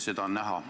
Seda on näha.